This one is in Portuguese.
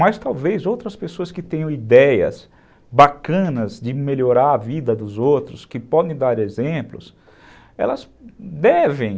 Mas talvez outras pessoas que tenham ideias bacanas de melhorar a vida dos outros, que podem dar exemplos, elas devem.